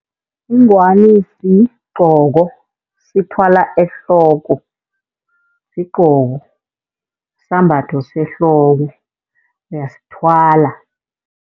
Ingwani sigqoko, sithwala ehloko. Sigqoko sisambatho sehloko, uyasithwala.